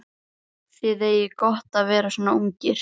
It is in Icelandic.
Þið eigið gott að vera svona ungir.